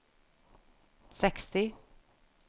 seksti